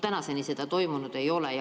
Tänaseni seda toimunud ei ole.